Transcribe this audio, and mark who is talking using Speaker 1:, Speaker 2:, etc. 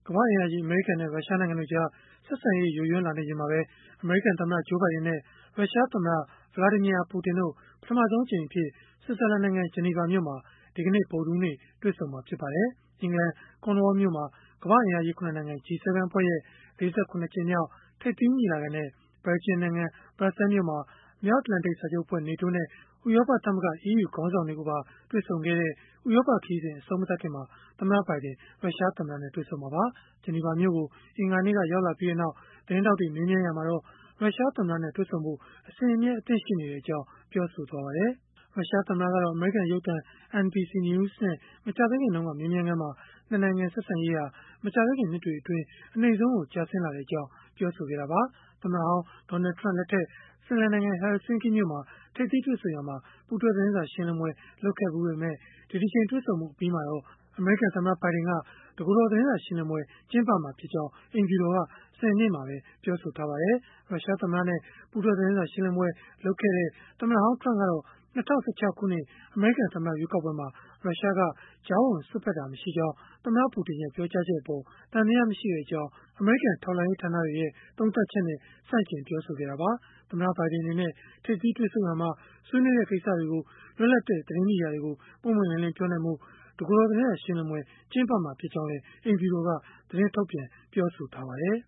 Speaker 1: မ္ဘာ့အင်အားကြီး အမေရိကန်နဲ့ ရုရှားနိုင်ငံတို့ကြား ဆက်ဆံရေး ယိုယွင်းလာနေချိန်မှာပဲ အမေရိကန်သမ္မတ Joe Biden နဲ့ ရုရှားသမ္မတ Vladimir Putin တို့ ပထမဆုံးအကြိမ်အဖြစ် ဆွစ်ဇာလန်နိုင်ငံ ဂျီနီဗာမြို့မှာ ဗုဒ္ဓဟူးနေ့ တွေ့ဆုံမှာ ဖြစ်ပါတယ်။ အင်္ဂလန် Cornwall မြို့မှာ ကမ္ဘာ့အင်အားကြီး ၇ နိုင်ငံ (G-7) အဖွဲ့ရဲ့ ၄၇ ကြိမ်မြောက် ထိပ်သီးညီလာခံနဲ့ ဘယ်လ်ဂျီယံနိုင်ငံ၊ ဘရပ်ဆဲလ်မြို့မှာ မြောက်အတ္တလန်တိတ် စာချုပ်အဖွဲ့ (NATO) နဲ့ ဥရောပသမဂ္ဂ (EU) ခေါင်းဆောင်တွေကိုပါ တွေ့ဆုံခဲ့ပြီးနောက် ဥရောပခရီးစဉ် အဆုံးမသတ်ခင်မှာ သမ္မတ ဘိုင်ဒင် ရုရှားသမ္မတနဲ့ တွေ့ဆုံမှာပါ။ ဂျီနီဗာမြို့ကို အင်္ဂါနေ့က ရောက်လာပြီးနောက် သတင်းထောက်တွေ မေးမြန်းရာမှာတော့ ရုရှားသမ္မတနဲ့ တွေ့ဖို့ အစဉ်အမြဲ အသင့်ရှိနေကြောင်း ပြောဆိုခဲ့ပါတယ်။ ရုရှားသမ္မတကတော့ အမေရိကန်ရုပ်သံ NBC News နဲ့ မကြာသေးခင်က မေးမြန်းခန်းမှာ ၂ နိုင်ငံ ဆက်ဆံရေးဟာ မကြာသေးခင်နှစ်တွေအတွင်း အနိမ့်ဆုံးကို ကျဆင်းလာကြောင်း ပြောဆိုခဲ့တာပါ။ သမ္မတဟောင်း Donald Trump လက်ထက် ဖင်လန်နိုင်ငံ Helsinki မြို့မှာ ထိပ်သီးတွေ့ဆုံရာမှာ ပူးတွဲသတင်းစာရှင်းလင်းပွဲ လုပ်ခဲ့ဖူးပေမဲ့ ဒီတကြိမ် တွေ့ဆုံမှုအပြီးမှာတော့ အမေရိကန်သမ္မတ ဘိုင်ဒင်က တကိုယ်တော် သတင်းစာရှင်းလင်းပွဲ ကျင်းပမှာဖြစ်ကြောင်း အိမ်ဖြူတော်က စနေနေ့မှာ ပြောဆိုထားပါတယ်။ ရုရှားသမ္မတနဲ့ ပူးတွဲသတင်းစာ ရှင်းလင်းပွဲ လုပ်ခဲ့တဲ့ သမ္မတဟောင်း Trump ကတော့ ၂၀၁၆ အမေရိကန်သမ္မတ ရွေးကောက်ပွဲမှာ ရုရှားက ကြားဝင်စွက်ဖက်ခဲ့တာ မရှိကြောင်း သမ္မတ Putin ရဲ့ ပြောကြားချက်အပေါ် သံသယမရှိကြောင်း အမေရိကန် ထောက်လှမ်းရေး ဌာနတွေရဲ့ သုံးသပ်ချက်နဲ့ ဆန့်ကျင်ပြောဆိုခဲ့တာပါ။ သမ္မတဘိုင်ဒင် အနေနဲ့ ထိပ်သီးတွေ့ဆုံရာမှာ ဆွေးနွေးတဲ့ ကိစ္စတွေကို လွတ်လပ်တဲ့ သတင်းမီဒီယာတွေကို ပွင့်ပွင့်လင်းလင်း ပြောနိုင်ဖို့ တကိုယ်တော် သတင်းစာရှင်းလင်းပွဲ ကျင်းပမှာ ဖြစ်ကြောင်းလည်း အိမ်ဖြူတော်က သတင်းထုတ်ပြန် ပြောဆိုထားပါတယ်